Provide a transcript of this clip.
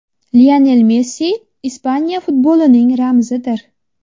Lionel Messi Ispaniya futbolining ramzidir.